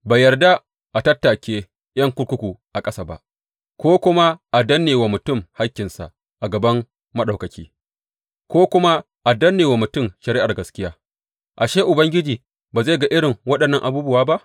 Bai yarda a tattake ’yan kurkuku a ƙasa ba, ko kuma a danne wa mutum hakkinsa a gaban Maɗaukaki, ko kuma a danne wa mutum shari’ar gaskiya ashe Ubangiji ba zai ga irin waɗannan abubuwa ba?